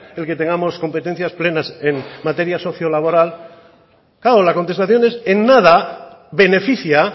el que tengamos competencias plenas en materias socio laboral claro la contestación es en nada beneficia